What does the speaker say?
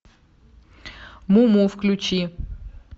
муму включи